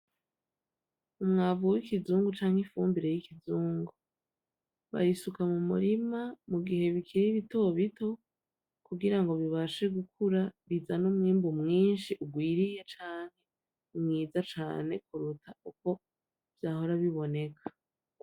Umwavu w'ikizungu canke ifumbire y'ikizungu, bayisuka mu murima mu gihe bikiri bito bito kugira bibashe gukura bizane umwungu mwinshi urwiriye cane, mwiza cane kuruta uko vyahora biboneka.